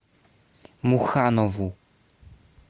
муханову